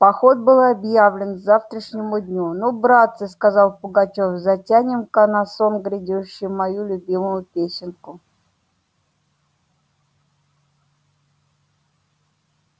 поход был объявлен к завтрашнему дню ну братцы сказал пугачёв затянем-ка на сон грядущий мою любимую песенку